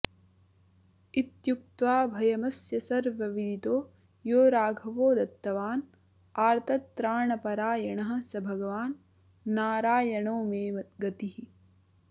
इत्युक्त्वाभयमस्य सर्वविदितो यो राघवो दत्तवान् आर्तत्राणपरायणः स भगवान्नारायणो मे गतिः